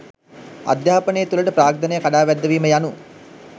අධ්‍යාපනය තුළට ප්‍රාග්ධනය කඩාවැද්දවීම යනු